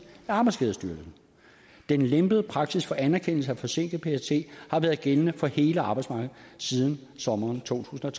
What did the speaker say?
af arbejdsskadestyrelsen den lempede praksis for anerkendelse af forsinket ptsd har været gældende for hele arbejdsmarkedet siden sommeren totusinde